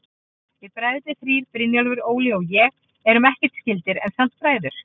Við bræðurnir þrír, Brynjólfur, Óli og ég, erum ekkert skyldir, en samt bræður.